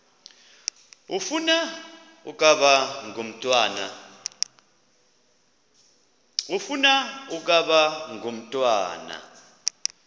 ufuna ukaba ngumntwana